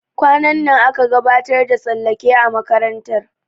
Kwanan nan aƙa gabatar da tsallake a makarantar.